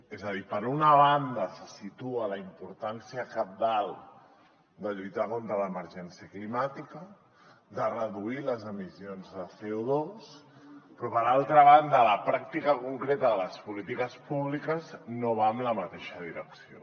és a dir per una banda se situa la importància cabdal de lluitar contra l’emergència climàtica de reduir les emissions de copràctica concreta de les polítiques públiques no va en la mateixa direcció